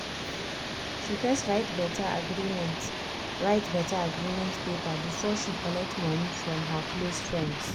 she first write better agreement write better agreement paper before she collect money from her close friends.